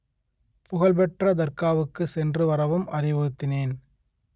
புகழ்பெற்ற தர்காவுக்கு சென்று வரவும் அறிவுறுத்தினேன்